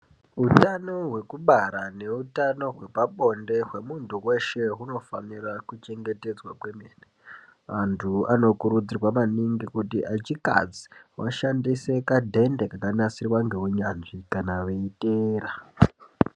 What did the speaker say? Hutano hwekubara nehutano hwepabonde hwemuntu weshe hunofanirwa kuchengetedzwa kwemene, antu anokutudzirwa maningi kuti echikadzi washandise kadhende kakanasirwa nehunyanzvi kana weiteera.